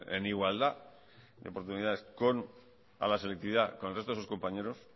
en igualdad de oportunidades a la selectividad con el resto de sus compañeros